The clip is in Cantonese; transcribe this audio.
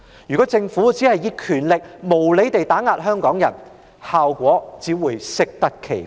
如果政府只是利用權力無理地打壓香港人，效果只會適得其反。